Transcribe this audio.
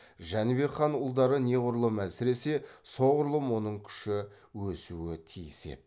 жәнібек хан ұлдары неғұрлым әлсіресе соғұрлым оның күші өсуі тиіс еді